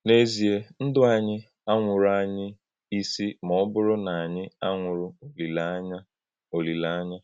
N’èzìè, Ndụ́ ànyí ànwụ̀rànyì ísì ma ọ̀ bùrù na ànyí ànwụ̀rù òlílè-ányà. òlílè-ányà.